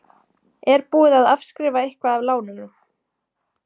Er búið að afskrifa eitthvað af lánunum?